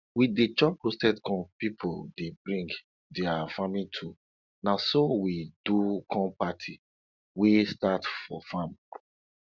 we dey chop roasted corn people dey bring dia farming tools na so we do corn party wey start for farm